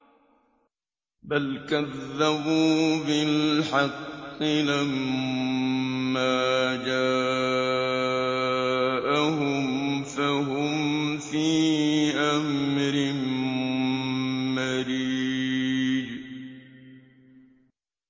بَلْ كَذَّبُوا بِالْحَقِّ لَمَّا جَاءَهُمْ فَهُمْ فِي أَمْرٍ مَّرِيجٍ